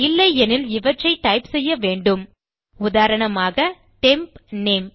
இல்லையெனில் இவற்றை டைப் செய்ய வேண்டும் உதாரணமாக டெம்ப் நேம்